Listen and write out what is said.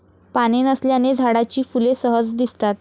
पाने नसल्याने झाडाची फुले सहज दिसतात.